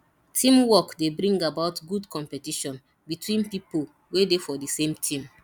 teamwork dey bring about good competition between pipo wey dey for the same team